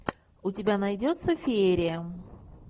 у тебя найдется феерия